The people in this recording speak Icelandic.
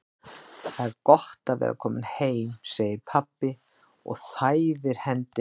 Það er gott að vera kominn heim, segir pabbi og þæfir hendina á